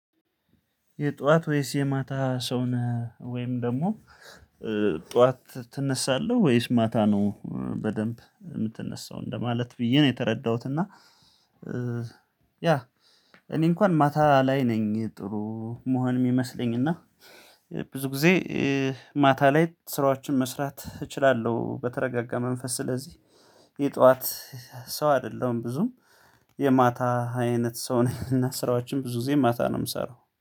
የጧት ወይስ የማታ ሰው ነህ ወይም ደግሞ ጧት ትነሳለህ ወይስ ማታ ነው በደንብ የምትነሳው እንደማለት ብዬ ነው የተረዳሁት። እና ያ እኔ እንኳን ማታ ላይ ነኝ ጥሩ መሆን የሚመስለኝ እና ብዙ ጊዜ ማታ ላይ ስራዎችን መስራት እችላለሁ። በተረጋጋ መንፈስ ስለዚህ የጠዋት ሰው አይደለሁም ብዙ የማታ አይነት ሰው ነኝ። እና ስራዎችን ብዙ ጊዜ ማታ ነው የምሰራው